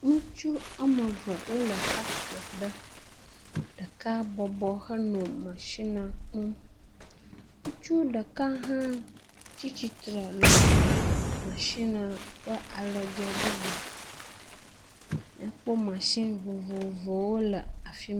Ŋutsu woame eve wole faktria ɖe, ɖeka bɔbɔ henɔ mɔshina kum. Ŋutsu ɖeka hã tsi tsitre le mashina le alɔdze bubu. Míakpɔ mashini vovowo le afi ma.